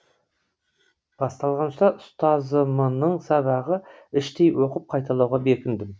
басталғанша ұстазымының сабағы іштей оқып қайталауға бекіндім